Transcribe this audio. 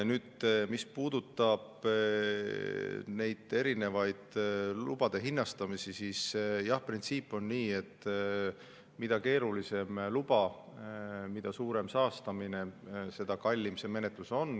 Nüüd, mis puudutab lubade hinnastamisi, siis jah, printsiip on selline, et mida keerulisem luba, mida suurem saastamine, seda kallim see menetlus on.